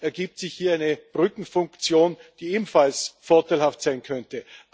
ergibt sich hier eine Brückenfunktion, die ebenfalls vorteilhaft sein könnte.